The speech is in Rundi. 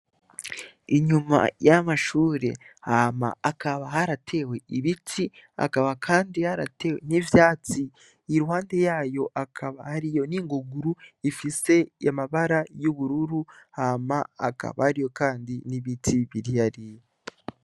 Inyuma y’amashure hakaba haratewe ibiti hakaba kandi haratewe n’ivyatsi iruhande yayo hakaba hariyo n’ingunguru ifise amabara y’ubururu hama hakaba hariyo kandi n’ibiti biri hariya.